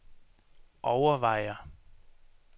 overvejer